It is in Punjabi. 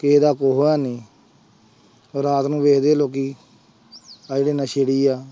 ਕਿਸੇ ਦਾ ਹੈਨੀ ਰਾਤ ਨੂੰ ਵੇਖਦੇ ਆ ਲੋਕੀ ਆਹ ਜਿਹੜੇ ਨਸ਼ੇੜੀ ਆ।